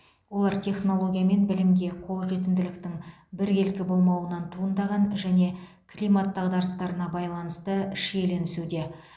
олар технология мен білімге қол жетімділіктің біркелкі болмауынан туындаған және климат дағдарыстарына байланысты шиеленесуде